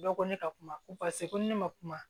Bɛɛ ko ne ka kuma ko paseke ko ne ma kuma